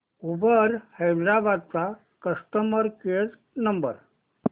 Uber Hyderabad चा customer care number